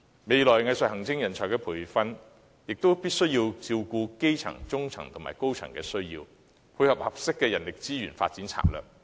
未來藝術行政人才的培訓，亦必須能照顧基層、中層和高層的需要，以配合合適的人力資源發展策略。